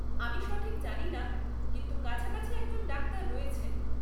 আমি সঠিক জানি না, কিন্তু কাছাকাছি একজন ডাক্তার রয়েছেন।